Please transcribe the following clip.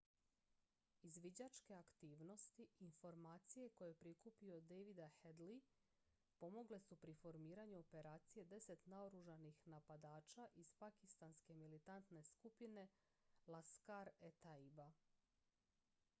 izviđačke aktivnosti i informacije koje je prikupio davida headley pomogle su pri formiranju operacije 10 naoružanih napadača iz pakistanske militantne skupine laskhar-e-taiba